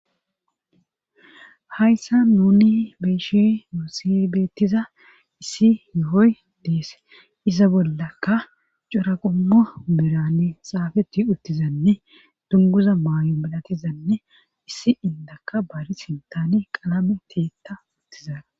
hayssa nuni beyshi muusibeettiza issi yohoy dees isa bollakka cora qommo birani xaafeti uttizanne dunguza maay7o midatizanne issi indaka baari sintani qalame tiitta uttizaa